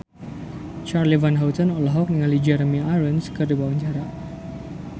Charly Van Houten olohok ningali Jeremy Irons keur diwawancara